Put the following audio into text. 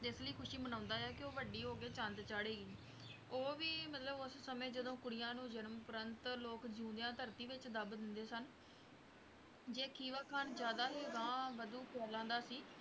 ਇਸ ਲਈ ਖ਼ੁਸ਼ੀ ਮਨਾਉਂਦੇ ਹੈ ਕਿ ਉਹ ਵੱਡੀ ਹੋ ਕੇ ਚੰਦ ਚਾੜ੍ਹੇਗੀ ਉਹ ਵੀ ਮਤਲਬ ਉਸ ਸਮੇਂ ਜਦੋਂ ਕੁੜੀਆਂ ਨੂੰ ਜਨਮ ਉਪਰੰਤ ਲੋਕ ਜਿਉਂਦਿਆਂ ਧਰਤੀ ਵਿੱਚ ਦੱਬ ਦਿੰਦੇ ਸਨ, ਜੇ ਖੀਵਾ ਖਾਨ ਜ਼ਿਆਦਾ ਹੀ ਅਗਾਂਹ-ਵਧੂ ਖਿਆਲਾਂ ਦਾ ਸੀ